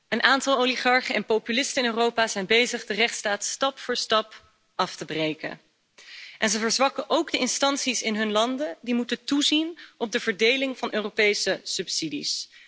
Een aantal oligarchen en populisten in Europa zijn bezig de rechtsstaat stap voor stap af te breken, en ze verzwakken ook de instanties in hun landen die moeten toezien op de verdeling van Europese subsidies.